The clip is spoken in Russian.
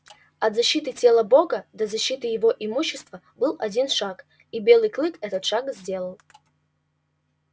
от защиты тела бога до защиты его имущества был один шаг и белый клык этот шаг сделал